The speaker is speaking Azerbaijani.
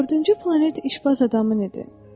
Dördüncü planet işbaz adamın idi.